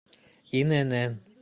инн